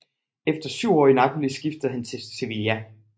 Efter syv år i Napoli skiftede han til Sevilla